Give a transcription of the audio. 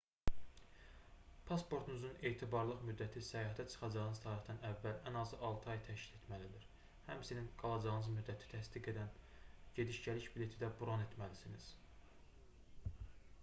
pasportunuzun etibarlılıq müddəti səyahətə çıxacağınız tarixdən əvvəl ən azı 6 ay təşkil etməlidir həmçinin qalacağınız müddəti təsdiq edəcək gediş-gəliş bileti də bron etməlisiniz